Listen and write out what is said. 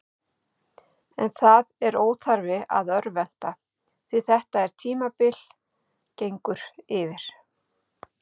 En það er óþarfi að örvænta, því þetta er tímabil gengur yfir.